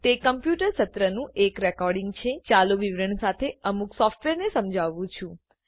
તે કમ્પ્યુટર સત્રનું એક રેકોર્ડીંગ છે ચાલુ વિવરણ સાથે અમુક સોફ્ટવેરને સમજાવવું છુ